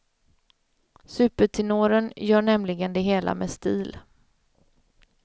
Supertenoren gör nämligen det hela med stil.